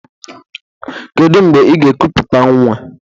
Kedụ mgbe ị ga-ekuputa nwa?